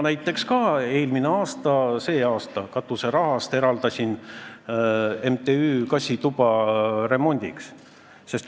Näiteks mina eraldasin ka sel aastal katuseraha MTÜ-le kassitoa remondiks.